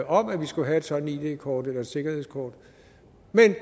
om at vi skulle have et sådant id kort eller et sikkerhedskort og